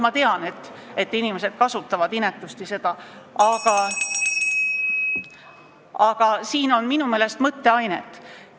Ma tean, et inimesed kasutavad inetult seda võtet, ja siin on minu meelest mõtteainet.